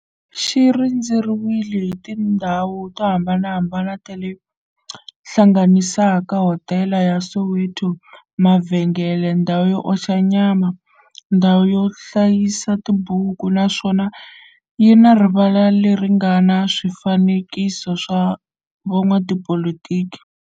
xi rhendzeriwile hi tindhawu to hambanahambana le ti hlanganisaka, hodela ya Soweto, mavhengele, ndhawu yo oxa nyama, ndhawu yo hlayisa tibuku, naswona yi na rivala le ri nga na swifanekiso swa vo n'watipolitiki.